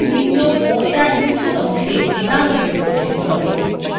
একটি ছোট window পর্দার নীচের অংশে ডানদিকে প্রর্দশিত হবে